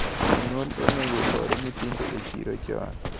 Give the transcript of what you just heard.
Jonyuol onego oor nyithindo e chiro chon.